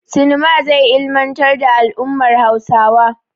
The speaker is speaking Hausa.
Sinema zai ilmantar da al'ummar Hausawa.